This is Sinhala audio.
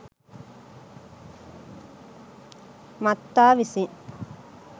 මත්තා විසින්